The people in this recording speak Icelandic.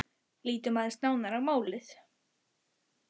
Lítum aðeins nánar á málið.